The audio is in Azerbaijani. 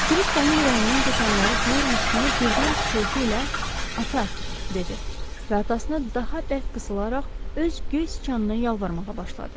Krisk onun ürəyindən keçənləri duyurmuş kimi birdən pıçıltı ilə “Ata!” dedi və atasına daha bərk qısılaraq öz göy siçanına yalvarmağa başladı.